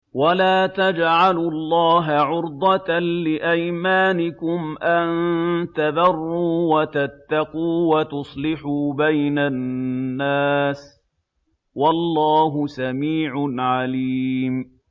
وَلَا تَجْعَلُوا اللَّهَ عُرْضَةً لِّأَيْمَانِكُمْ أَن تَبَرُّوا وَتَتَّقُوا وَتُصْلِحُوا بَيْنَ النَّاسِ ۗ وَاللَّهُ سَمِيعٌ عَلِيمٌ